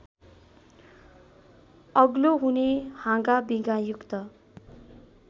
अग्लो हुने हाँगाबिगायुक्त